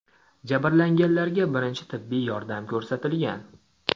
Jabrlanganlarga birinchi tibbiy yordam ko‘rsatilgan.